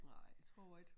Nej tror ik